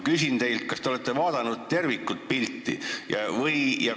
Kas te olete vaadanud tervikpilti?